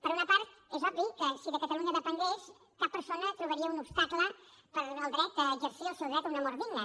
per una part és obvi que si de catalunya depengués cap persona trobaria un obstacle per exercir el seu dret a una mort digna